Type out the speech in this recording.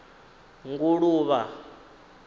nguluvha